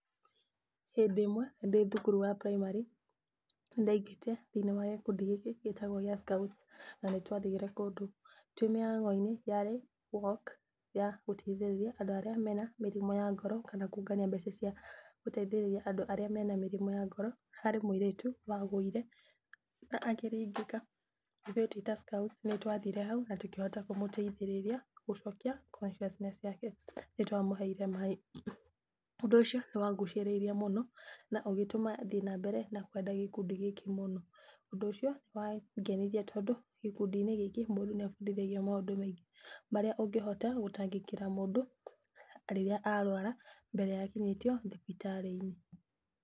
Hĩndĩ ĩmwe ndĩ thukuru wa primary nĩ ndaingĩrĩte thĩiniĩ wa gĩkundi gĩkĩgĩtagwo gĩa scout na nĩ twathire kũndũ. Twĩ mĩhang'o-inĩ yarĩ walk ya gũteithiriria andu arĩa marĩ na mĩrimũ ya ngoro, kana kũngania mbeca cia gũteithĩriria andũ arĩa marĩ na mĩrimũ ya ngoro. Harĩ mũirĩtu wagũire na akĩringĩka ithuĩ twĩ ta scout nĩ twathire hau na tũkihota kũmũteithĩrĩria gũcokia conciousness yake, nĩ twamuheire maaĩ. Ũndũ ũcio ni wangucĩrĩirie mũno na ũgĩtũma thiĩ na mbere na kwenda gĩkundi gĩkĩ mũno. Ũndũ ũcio nĩ wangenirie tondũ gĩkundi-inĩ gĩkĩ mũndũ nĩ abundithagio maũndũ maingĩ marĩa ũngĩhota gũtangĩkĩra mũndũ rĩrĩa arwara mbere ya akinyĩtio thibitari-inĩ.